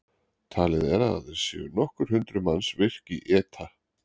Talið er að aðeins séu nokkur hundruð manns virk í ETA.